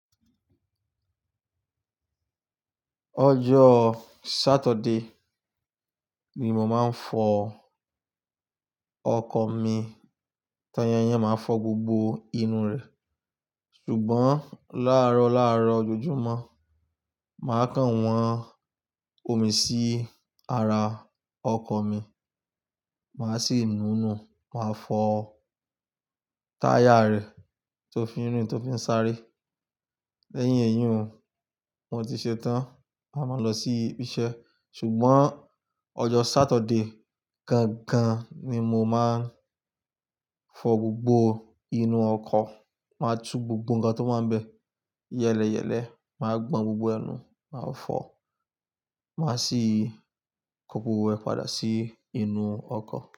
Ọjọ́ Saturday ni mò máa ń fọ ọkọ̀ mi. Táyà yẹn máa ń fọ́ gbogbo inú rẹ̀. Ṣùgbọ́n láàrọ̀ láàrọ̀ ojoojúmọ́, màá kàn wọ́n omi sí ara ọkọ̀ mi, màá sì nùnú, màá fọ táyà rẹ̀ tó fi ń rìn, tó fi ń sáré. Lẹ́yìn èyí un, mo ti ṣetán, màá lọ sí ibi iṣẹ́. Ṣùgbọ́n ọjọ́ Saturday gangan ni mo máa ń fọ gbogbo inú ọkọ̀, màá tú gbogbo nǹkan tó wà ń bè. Yẹ́lẹyẹ̀lẹ́, màá gbọn gbogbo ẹnu, màá fọ, màá sì kó gbogbo rẹ̀ padà sí inú ọkọ̀.